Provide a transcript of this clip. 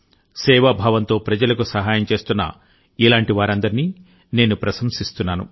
సేవాభావంతో ప్రజలకు సహాయం చేస్తున్నఇలాంటి వారందరినీ నేను ప్రశంసిస్తున్నాను